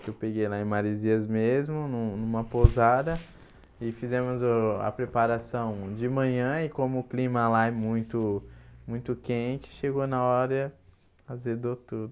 que eu peguei lá em Marizias mesmo, num numa pousada e fizemos o a preparação de manhã e como o clima lá é muito muito quente, chegou na hora azedou tudo.